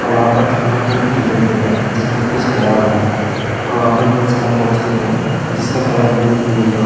और वहां पर थर्माकोल भी दिखाई दे रहा है जिसमें फिश भरा हुआ है और वहां पर बहुत सारा बॉक्स लुक हैं जिसका कलर ब्लू और येलो --